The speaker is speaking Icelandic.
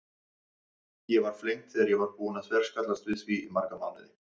Ég var flengd þegar ég var búin að þverskallast við því í marga mánuði.